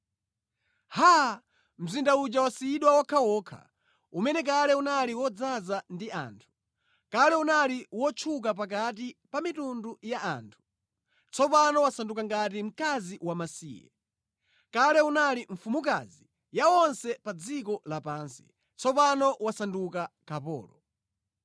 Haa! Mzinda uja wasiyidwa wokhawokha, umene kale unali wodzaza ndi anthu! Kale unali wotchuka pakati pa mitundu ya anthu! Tsopano wasanduka ngati mkazi wamasiye. Kale unali mfumukazi ya onse pa dziko lapansi, tsopano wasanduka kapolo.